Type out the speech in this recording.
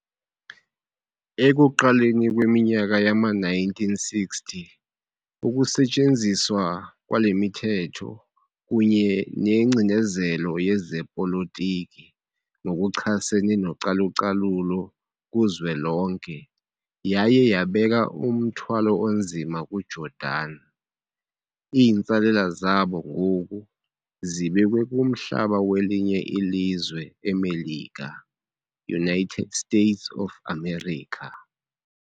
Ekuqaleni kweminyaka yama-1960, ukusetyenziswa kwalemithetho kunye nengcinezelo yezepolitiki ngokuchasene nocalucalulo kuzwelonke yaye yabeka umthwalo onzima ku Jordan. Iintsalela zabo ngoku zibekwe kumhlaba welinye ilizwe eMelika, United States of America.